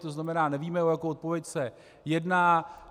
To znamená, nevíme, o jakou odpověď se jedná.